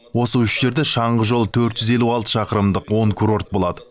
осы үш жерде шаңғы жолы төрт жүз елу алты шақырымдық он курорт болады